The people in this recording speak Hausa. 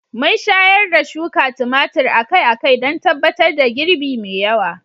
Mun shayar da shuka tumatir akai-akai don tabbatar da girbi mai yawa.